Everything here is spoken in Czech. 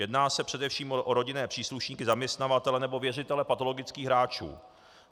Jedná se především o rodinné příslušníky, zaměstnavatele nebo věřitele patologických hráčů.